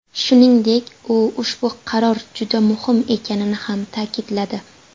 Shuningdek, u ushbu qaror juda muhim ekanini ham ta’kidladi.